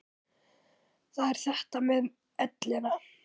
Það er þetta með ellina.